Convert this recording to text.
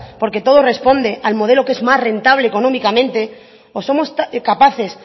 porque todo responde al modelo que es más rentable económicamente o somos capaces